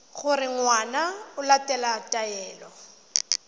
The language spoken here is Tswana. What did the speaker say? gore ngwana o latela taelo